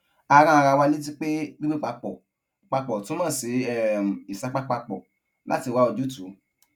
a rán ara wa létí pé gbígbé papò papò túmò sí um ìsapá papò láti wá ojútùú